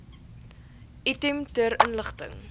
item ter inligting